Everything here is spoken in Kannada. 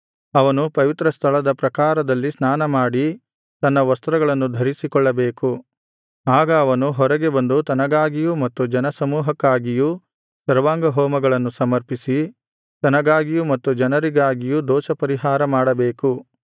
ಅವನು ಪವಿತ್ರ ಸ್ಥಳದ ಪ್ರಾಕಾರದಲ್ಲಿ ಸ್ನಾನಮಾಡಿ ತನ್ನ ವಸ್ತ್ರಗಳನ್ನು ಧರಿಸಿಕೊಳ್ಳಬೇಕು ಆಗ ಅವನು ಹೊರಗೆ ಬಂದು ತನಗಾಗಿಯೂ ಮತ್ತು ಜನಸಮೂಹಕ್ಕಾಗಿಯೂ ಸರ್ವಾಂಗಹೋಮಗಳನ್ನು ಸಮರ್ಪಿಸಿ ತನಗಾಗಿಯೂ ಮತ್ತು ಜನರಿಗಾಗಿಯೂ ದೋಷಪರಿಹಾರ ಮಾಡಬೇಕು